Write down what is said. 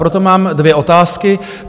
Proto mám dvě otázky.